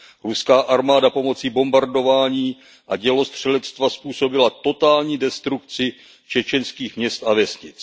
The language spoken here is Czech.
Ruská armáda pomocí bombardování a dělostřelectva způsobila totální destrukci čečenských měst a vesnic.